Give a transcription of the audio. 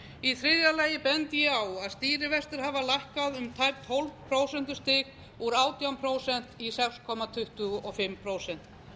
í þriðja lagi bendi ég á að stýrivextir hafa lækkað um tæp tólf prósentustig úr átján prósent í sex komma tuttugu og fimm prósent